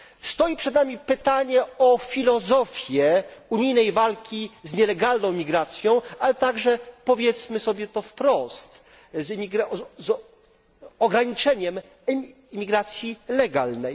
Stoi przed nami pytanie o filozofię unijnej walki z nielegalną imigracją, ale także, powiedzmy sobie to wprost, z ograniczeniem imigracji legalnej.